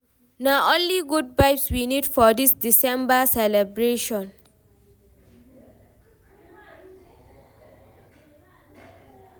Na only good vibes we need for dis December celebration.